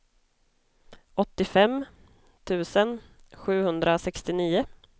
åttiofem tusen sjuhundrasextionio